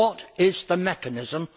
What is the mechanism?